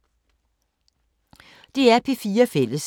DR P4 Fælles